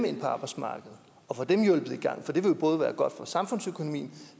ind på arbejdsmarkedet og få dem hjulpet i gang for det vil jo både være godt for samfundsøkonomien